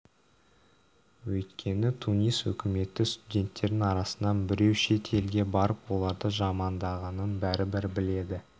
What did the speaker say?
өйткені тунис үкіметі студенттердің арасынан біреу шет елге барып оларды жамандағанын бәрібір біледі